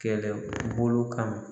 Kɛlɛbolo kama.